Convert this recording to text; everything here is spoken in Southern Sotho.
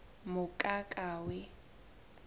mokakawe